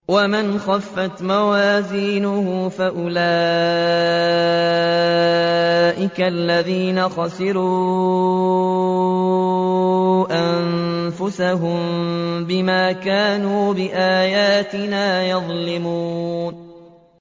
وَمَنْ خَفَّتْ مَوَازِينُهُ فَأُولَٰئِكَ الَّذِينَ خَسِرُوا أَنفُسَهُم بِمَا كَانُوا بِآيَاتِنَا يَظْلِمُونَ